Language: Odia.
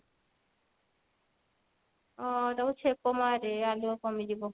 ଅ ତାକୁ ଛେପ ମାରେ ଆଲୁଅ କମିଯିବ।